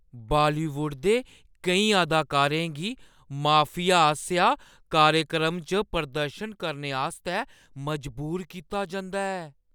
Bollywood दे केईं अदाकारें गी माफिया आसेआ कार्यक्रमें च प्रदर्शन करने आस्तै मजबूर कीता जंदा ऐ